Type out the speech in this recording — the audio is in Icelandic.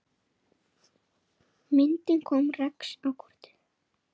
Myndin kom Rex á kortið.